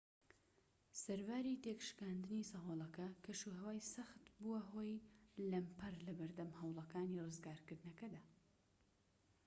سەرباری تێكشکاندنی سەهۆڵەکە کەشوهەوای سەخت بووە هۆی لەمپەر لەبەردەم هەوڵەکانی ڕزگارکردنەکەدا